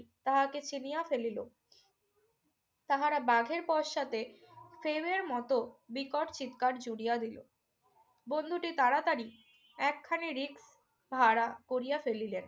তাহাকে চিনিয়া ফেলিল। তাহারা বাঘের পশ্চাতে প্রেমের মতো বিকট চিৎকার জুড়িয়া দিল। বন্ধুটি তাড়াতাড়ি একখানি রিক ভাড়া করিয়া ফেলিলেন।